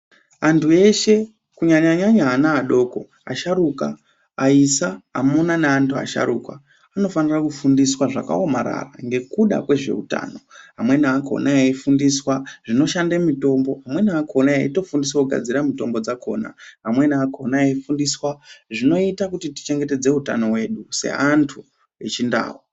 Antu eshe kunyanya nyanya ana adoko asharuka aisa amuna ne antu asharukwa ano fanira ku fundiswa zvaka omarara ngekuda kwezve utano amweni akona eyi fundiswa zvinoshande mitombo amweni akona eito fundiswa ku gadzira mitombo yakona amweni eyi fundiswa zvinoitwa kuchengetedza utano hwedu se andu echi ndau.